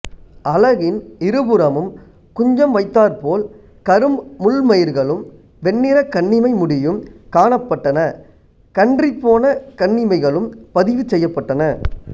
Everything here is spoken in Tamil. அலகின் இருபுறமும் குஞ்சம் வைத்தாற்போல் கரும் முள்மயிர்களும் வெண்ணிற கண்ணிமை முடியும் காணப்பட்டன கன்றிப்போன கண்ணிமைகளும் பதிவு செய்யப்பட்டன